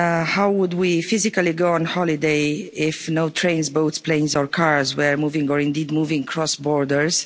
How would we physically go on holiday if no trains, boats, planes or cars were moving, or indeed moving across borders?